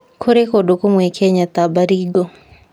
Kũrĩ kũndũ kũmwe Kenya ta Baringo,